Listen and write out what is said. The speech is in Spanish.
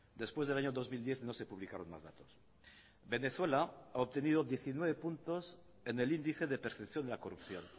después del año dos mil diez no se publicaron más datos venezuela ha obtenido diecinueve puntos en el índice de percepción de la corrupción